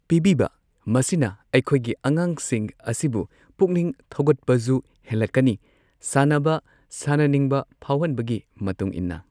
ꯄꯤꯕꯤꯕ ꯃꯁꯤꯅ ꯑꯩꯈꯣꯏꯒꯤ ꯑꯉꯥꯡꯁꯤꯡ ꯑꯁꯤꯕꯨ ꯄꯨꯛꯅꯤꯡ ꯊꯧꯒꯠꯄꯖꯨ ꯍꯦꯜꯂꯛꯀꯅꯤ ꯁꯥꯟꯅꯕ ꯁꯥꯟꯅꯅꯤꯡꯕ ꯐꯥꯎꯍꯟꯕꯒꯤ ꯃꯇꯨꯡ ꯏꯟꯅ꯫